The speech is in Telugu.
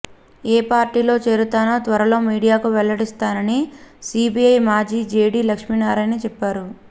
ఏ పార్టీలో చేరుతానో త్వరలో మీడియాకు వెల్లడిస్తానని సీబీఐ మాజీ జేడీ లక్ష్మీనారాయణ చెప్పారు